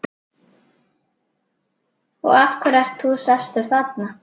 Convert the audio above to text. Og af hverju ert þú sestur þarna?